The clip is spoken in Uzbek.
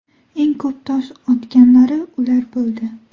Eng ko‘p tosh otganlari ular bo‘ldi.